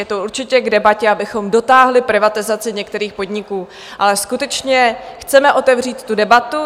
Je to určitě k debatě, abychom dotáhli privatizaci některých podniků, ale skutečně chceme otevřít tu debatu.